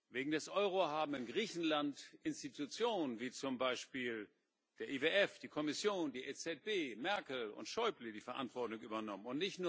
Wegen des Euro haben in Griechenland Institutionen, wie zum Beispiel der IWF, die Kommission, die EZB, Merkel und Schäuble die Verantwortung übernommen.